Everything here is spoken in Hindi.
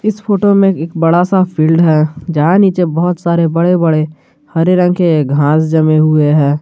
इस फोटो में एक बड़ा सा फील्ड है जहां नीचे बहुत सारे बड़े बड़े हरे रंग के घास जमे हुए हैं।